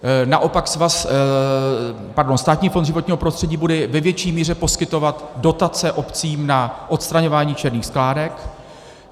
Naopak Státní fond životního prostředí bude ve větší míře poskytovat dotace obcím na odstraňování černých skládek.